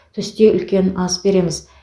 түсте үлкен ас береміз